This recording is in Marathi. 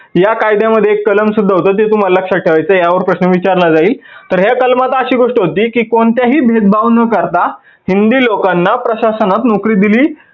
या कायद्यामध्ये एक कलम सुद्धा होतं ते तुम्हाला लक्षात ठेवायचं आहे, या वर प्रश्न विचारला जाईल. तर ह्या कलमात अशी गोष्ट होती की कोणत्याही भेदभाव न करता हिंदी लोकांना प्रशासनात नोकरी दिली